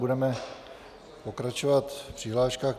Budeme pokračovat v přihláškách.